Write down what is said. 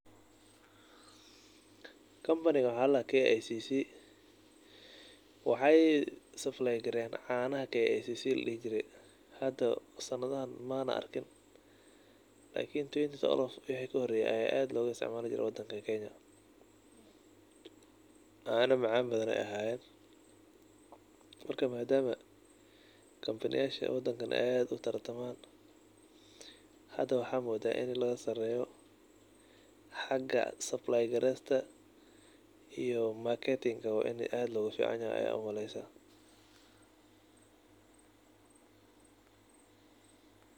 Kampanigan waxaa la dhahaa KCC.Waxaay saplaygareeyaan caanaha kcc la dhihi jiray. Hada sanadahan maana arkin. lakini twenty twelve ii waxii ka horeeyay ayaa aad loo isticmaali jiray wadankan kenya. Caano macaan badan ayaay ahayeen. Marka maadaama kampaniyaasha wadankan aad u tartamaan, hada waxaa moodaa in laga saareeyo haga saplaygraysta iyo marketing in aad laga ficanyahay ayaa u malaysa.